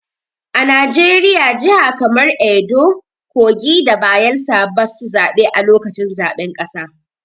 A Najeriya, jihar kaman Edo, kogi da Bayelsa basu zabe a lokacin zaɓen ƙasa.